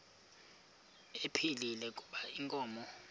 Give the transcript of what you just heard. ephilile kuba inkomo